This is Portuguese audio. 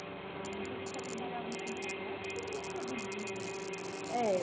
Ah, mas eles só trabalhavam com comércio ou eles produziam também? É